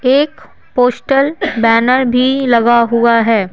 एक postal banner भी लगा हुआ है।